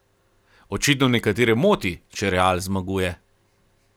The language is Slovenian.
Očitno nekatere moti, če Real zmaguje.